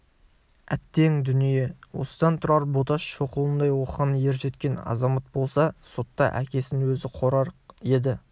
әттең дүние осыдан тұрар боташ шоқұлындай оқыған ержеткен азамат болса сотта әкесін өзі қорғар еді